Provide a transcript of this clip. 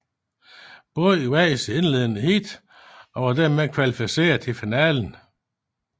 Båden vandt sit indledende heat og var dermed kvalificeret til finalen